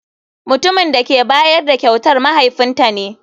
Mutumin da ke bayar da kyautar mahaifinta ne.